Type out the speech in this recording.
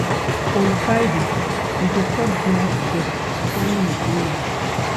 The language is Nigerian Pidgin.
On Friday, we go chop dinner togeda as family wey we be.